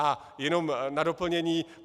A jenom na doplnění.